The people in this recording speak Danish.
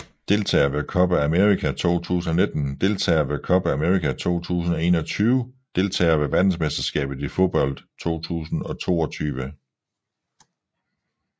Deltagere ved Copa América 2019 Deltagere ved Copa América 2021 Deltagere ved verdensmesterskabet i fodbold 2022